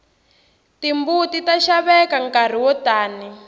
timbuti ta xaveka nkarhi wo tani